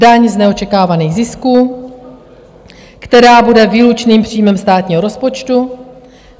Daň z neočekávaných zisků, která bude výlučným příjmem státního rozpočtu.